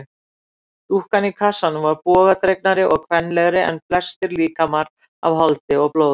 Dúkkan í kassanum var bogadregnari og kvenlegri en flestir líkamar af holdi og blóði.